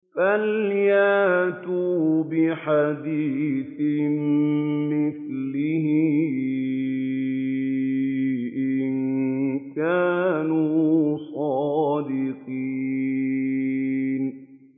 فَلْيَأْتُوا بِحَدِيثٍ مِّثْلِهِ إِن كَانُوا صَادِقِينَ